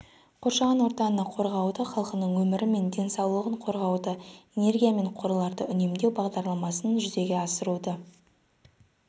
қоршаған ортаны қорғауды халқының өмірі мен денсаулығын қорғауды энергия мен қорларды үнемдеу бағдарламасын жүзеге асыруды